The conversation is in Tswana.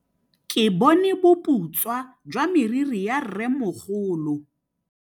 Ke bone boputswa jwa meriri ya rrêmogolo.